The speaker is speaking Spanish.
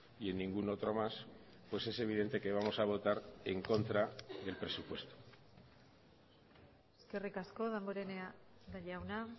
y en ningún otro más pues es evidente que vamos a votar en contra del presupuesto eskerrik asko damborenea jauna